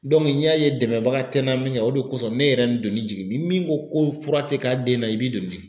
n y'a ye dɛmɛbaga tɛ n na min kɛ o de kosɔn ne yɛrɛ ye n doni jigin ni min ko ko fura tɛ k'a den na i b'i doni